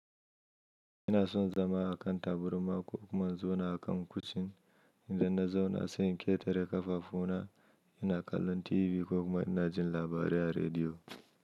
Ina son zama a kan taburma, ko kuma zona akan kucin, idan na zauna, sai in ƙetare ƙafafu na, ina kallon TV ko kuma ina jin labarai a rediyo.